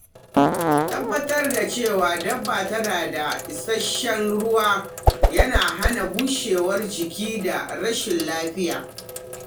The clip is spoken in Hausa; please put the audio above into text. Tabbatar da cewa dabba tana da isasshen ruwa yana hana bushewar jiki da rashin lafiya.